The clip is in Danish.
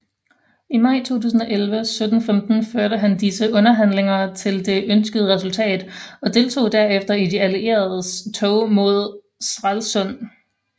I maj 1715 førte han disse underhandlinger til det ønskede resultat og deltog derefter i de allieredes tog mod Stralsund